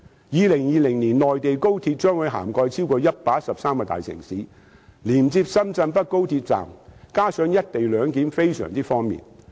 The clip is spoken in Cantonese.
2020年內地高鐵將會覆蓋超過113個大城市，連接深圳北高鐵站，再加上實施"一地兩檢"，非常方便。